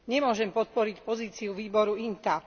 Nemôžem podporiť pozíciu výboru INTA.